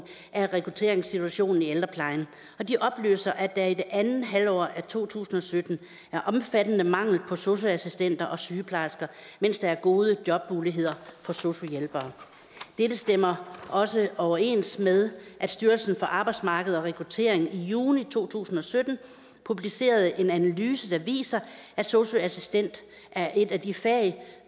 af rekrutteringssituationen i ældreplejen og de oplyser at der i andet halvår af to tusind og sytten er omfattende mangel på sosu assistenter og sygeplejersker mens der er gode jobmuligheder for sosu hjælpere dette stemmer også overens med at styrelsen for arbejdsmarked og rekruttering i juni to tusind og sytten publicerede en analyse der viser at sosu assistent er et af de fag